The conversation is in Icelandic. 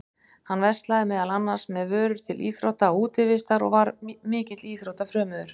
Hann verslaði meðal annars með vörur til íþrótta og útivistar og var mikill íþróttafrömuður.